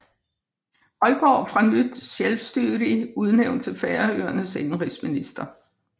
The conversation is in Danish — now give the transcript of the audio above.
Højgaard fra Nýtt Sjálvstýri udnævnt til Færøernes indenrigsminister